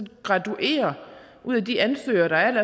graduere de ansøgere der er